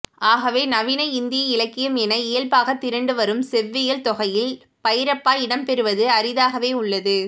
ஆகவே நவீன இந்திய இலக்கியம் என இயல்பாகத் திரண்டுவரும் செவ்வியல்தொகையில் பைரப்பா இடம்பெறுவது அரிதாகவே உள்ளது